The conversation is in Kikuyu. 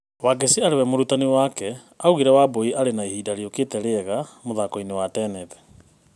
Wangeci arĩwe mũrutani wake, augire Wambũi arĩ na ihinda rĩũkĩte rĩega mũthakoinĩ wa tenethi.